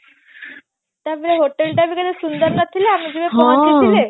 ତାପରେ hotel ଟା ବି କେତେ ସୁନ୍ଦର ନଥିଲା